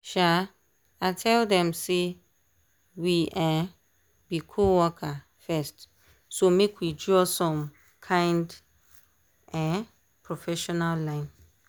um i tell dem say we um be co-worker first so make we draw some kind um professional line.